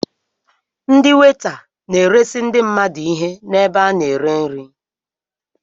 Ndị weta na-eresi ndị mmadụ ihe n'ebe a na-ere nri.